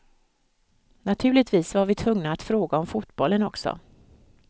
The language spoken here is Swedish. Naturligtvis var vi tvungna att fråga om fotbollen också.